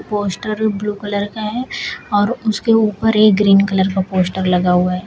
Poster blue colour का है और उसके ऊपर एक ग्रीन कलर का पोस्टर लगा हुआ है।